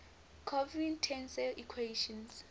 covariant tensor equations